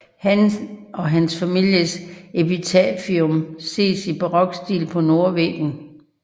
Han og hans families epitafium ses i barokstil på nordvæggen